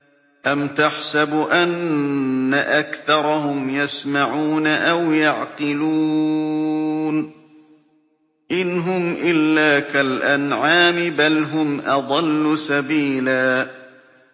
أَمْ تَحْسَبُ أَنَّ أَكْثَرَهُمْ يَسْمَعُونَ أَوْ يَعْقِلُونَ ۚ إِنْ هُمْ إِلَّا كَالْأَنْعَامِ ۖ بَلْ هُمْ أَضَلُّ سَبِيلًا